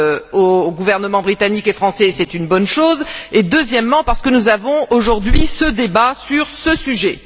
aux gouvernements britannique et français, et c'est une bonne chose, et deuxièmement, parce que nous avons, aujourd'hui, un débat sur ce sujet.